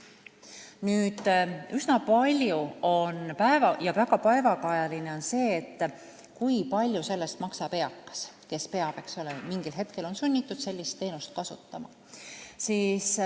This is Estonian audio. Nüüd, väga päevakajaline teema on see, kui palju sellest rahast maksab eakas, kes on mingil hetkel sunnitud sellist teenust kasutama.